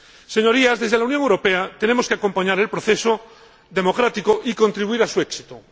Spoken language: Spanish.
Señorías, desde la Unión Europea tenemos que acompañar el proceso democrático y contribuir a su éxito.